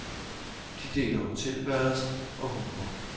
De deler hotelværelser og humor.